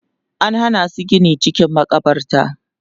an Hana su Gini cikin makabarta